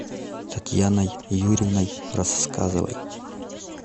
татьяной юрьевной рассказовой